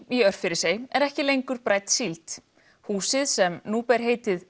í Örfirisey er ekki lengur brædd síld húsið sem nú ber heitið